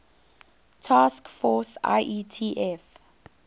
task force ietf